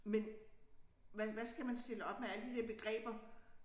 Men hvad hvad skal man stille op med alle de der begreber